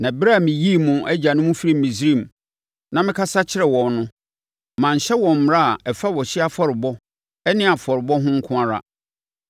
Na ɛberɛ a meyii mo agyanom firii Misraim na mekasa kyerɛɛ wɔn no, manhyɛ wɔn mmara a ɛfa ɔhyeɛ afɔrebɔ ne afɔrebɔ ho nko ara,